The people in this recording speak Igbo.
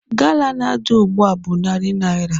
Gala na-adị ugbu a bụ narị naira.